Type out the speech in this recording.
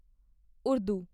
Urdu